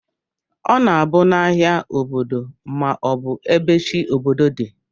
Ọna abu na ahia obodo ma ọbu ebe chi obodo di.